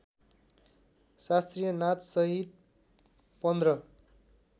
शास्त्रीय नाचसहित पन्ध्र